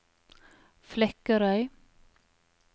Flekkerøy